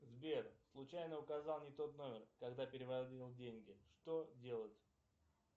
сбер случайно указал не тот номер когда переводил деньги что делать